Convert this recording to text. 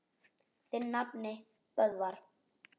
Þinn nafni, Böðvar.